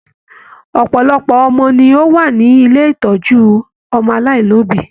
Ọpọlọpọ ọmọ ni o wà ní ilé ìtọjú ọmọ aláìlobi.